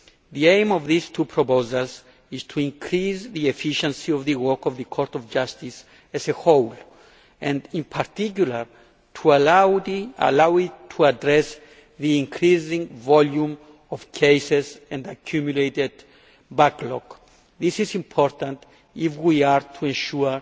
The aim of these two proposals is to increase the efficiency of the work of the Court of Justice as a whole and in particular to allow it to address the increasing volume of cases and accumulated backlog. This is important if we are to ensure